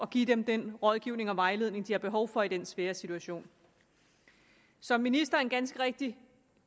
give dem den rådgivning og vejledning de har behov for i den svære situation som ministeren ganske rigtigt